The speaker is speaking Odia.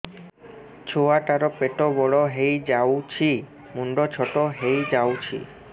ଛୁଆ ଟା ର ପେଟ ବଡ ହେଇଯାଉଛି ମୁଣ୍ଡ ଛୋଟ ହେଇଯାଉଛି